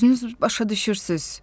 Özünüz başa düşürsünüz.